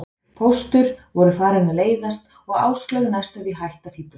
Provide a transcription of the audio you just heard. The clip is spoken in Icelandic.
Póstur voru farin að leiðast og Áslaug næstum því hætt að fíflast.